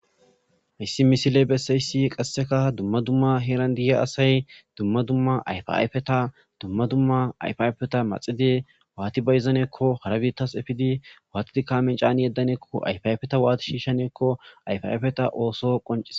hayssi misile bessayssi qasseka dumma dumma heeran diyiya asay dumma dumma ayfayfeta dumma dumma ayfayfeta maxide waati bayizanekko harabitas efidi waatidi kaamen caani yeddaneekko ayf ayfeta waati shiishaneekko ayfafeta ooso qoncise